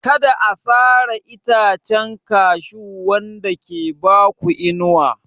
Kada a sare itacen Cashew wanda ke ba ku inuwa.